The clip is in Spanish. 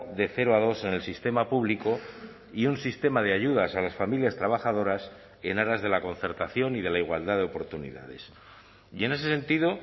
de cero a dos en el sistema público y un sistema de ayudas a las familias trabajadoras en aras de la concertación y de la igualdad de oportunidades y en ese sentido